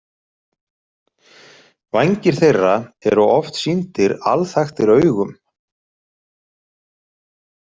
Vængir þeirra eru oft sýndir alþaktir augum.